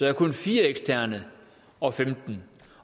er kun fire eksterne og femten